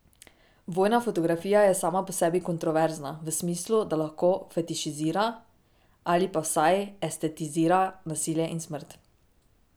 Vojna fotografija je sama po sebi kontroverzna v smislu, da lahko fetišizira ali pa vsaj estetizira nasilje in smrt.